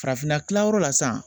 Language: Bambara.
Farafinna kilayɔrɔ la sisan